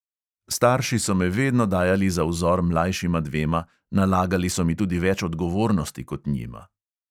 Starši so me vedno dajali za vzor mlajšima dvema, nalagali so mi tudi več odgovornosti kot njima.